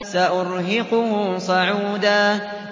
سَأُرْهِقُهُ صَعُودًا